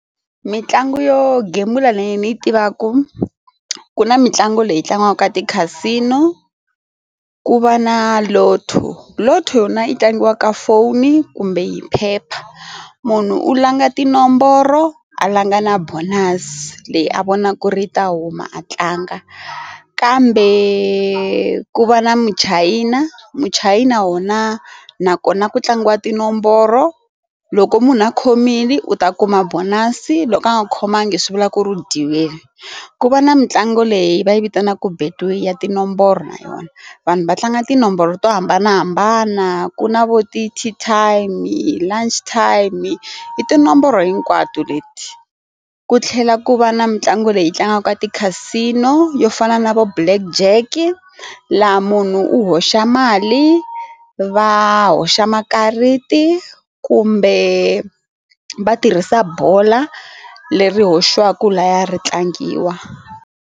Mitlangu yo gembula leyi ni yi tivaka ku na mitlangu leyi tlangiwaka ti-Casino ku va na Lotto Lotto yona yi tlangiwa ka foni kumbe yi phepha or munhu u langa tinomboro a langa na bonus leyi a vona ku ri ta huma a tlanga kambe ku va na muchayina muchayina wona nakona ku tlangiwa tinomboro loko munhu a khomile u ta kuma bond kasi loko a nga khomangi swi vulaka ku dyiwile ku va na mitlangu leyi va yi vitanaka Betway ya tinomboro na yona vanhu va tlanga tinomboro to hambanahambana ku na vo ti team i lama time i tinomboro hinkwato leti ku tlhela ku va na mitlangu leyi tlangaka ti-Casino yo yo fana na vo Black Jack laha munhu u hoxa mali va hoxa makarati kumbe va tirhisa bola leri hoxaka laya ri tlangiwa.